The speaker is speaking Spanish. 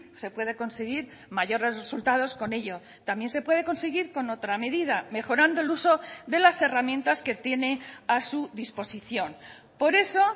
se puede conseguir mayores resultados con ello también se puede conseguir con otra medida mejorando el uso de las herramientas que tiene a su disposición por eso